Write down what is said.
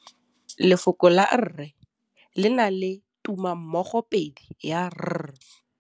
Lefoko la rre le na le tumammogôpedi ya, r.